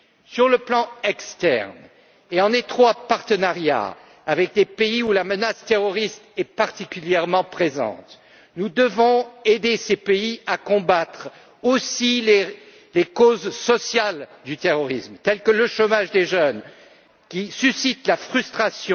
Sur le plan externe et en étroit partenariat avec les pays où la menace terroriste est particulièrement présente, nous devons aider ces pays à combattre aussi les causes sociales du terrorisme, telles que le chômage des jeunes, qui est source de frustration,